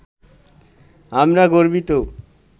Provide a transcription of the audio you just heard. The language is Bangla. আমরা গর্বিত